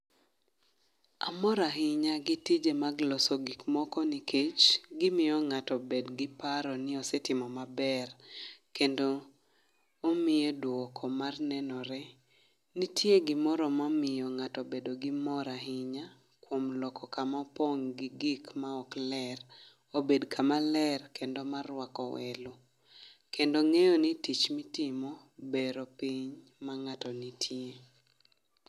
Amor ahinya gi tije mag loso gik moko nikech, gimiyo ngáto bed gi paro ni osetimo maber, kendo omiye duoko mar nenore. Nitie gimoro mamiyo ngáto bedo gi mor ahinya, kuom loko kama opong' gi gik ma ok ler, obed kama ler kendo marwako welo, kendo ngéyo ni tich mitimo bero piny mangáto nitie.